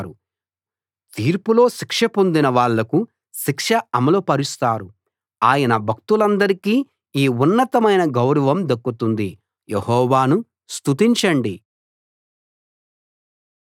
తీర్పులో శిక్ష పొందిన వాళ్లకు శిక్ష అమలు పరుస్తారు ఆయన భక్తులందరికీ ఈ ఉన్నతమైన గౌరవం దక్కుతుంది యెహోవాను స్తుతించండి